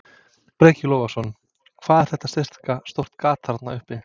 Breki Logason: Hvað er þetta sirka stórt gat þarna uppi?